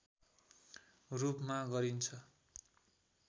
रूपमा गरिन्छ